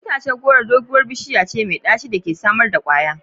Itacen goro itace doguwar bishiya ce mai daci da ke samar da kwaya.